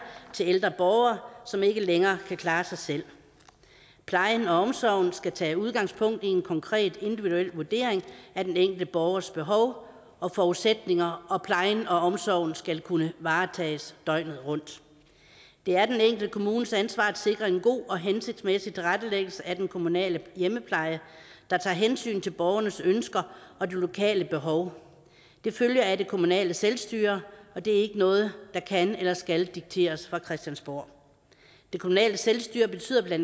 til ældre borgere som ikke længere kan klare sig selv plejen og omsorgen skal tage udgangspunkt i en konkret individuel vurdering af den enkelte borgers behov og forudsætninger og plejen og omsorgen skal kunne varetages døgnet rundt det er den enkelte kommunes ansvar at sikre en god og hensigtsmæssig tilrettelæggelse af den kommunale hjemmepleje der tager hensyn til borgernes ønsker og de lokale behov det følger af det kommunale selvstyre og det er ikke noget der kan eller skal dikteres fra christiansborg det kommunale selvstyre betyder bla at